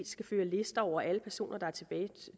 skal føre lister over alle personer